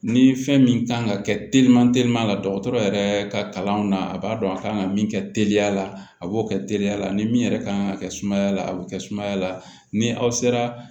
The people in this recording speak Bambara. Ni fɛn min kan ka kɛ teliman teliya la dɔgɔtɔrɔ yɛrɛ ka kalan na a b'a dɔn a kan ka min kɛ teliya la a b'o kɛ teliya la ni min yɛrɛ ka kan ka kɛ sumaya la a bɛ kɛ sumaya la ni aw sera